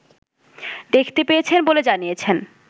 দেখতে পেয়েছেন বলে জানিয়েছেন